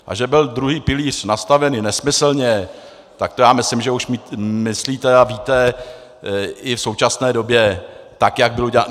A že byl druhý pilíř nastaven nesmyslně, tak to já myslím, že už myslíte a víte i v současné době, tak jak byl udělán.